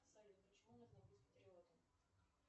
салют почему нужно быть патриотом